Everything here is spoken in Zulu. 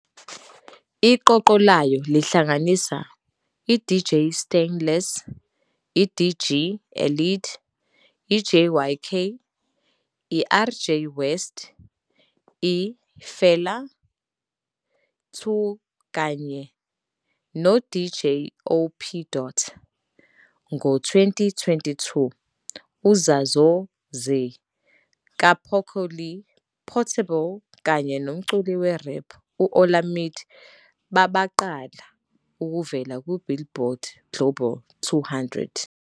Iqoqo layo lihlanganisa i-DJ Stainless, i-DG Elede, i-J YK, i-RJ West, i-Fela 2 kanye noDJ OP Dot. Ngo-2022, "UZazoo Zehh" kaPoco Lee, Portable, kanye nomculi we-rap uOlamide babaqala ukuvela ku-I-Billboard Global 200.